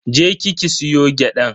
Je ki ki soya gyadan.